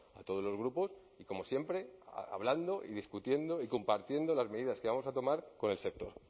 a todos los grupos y como siempre hablando y discutiendo y compartiendo las medidas que vamos a tomar con el sector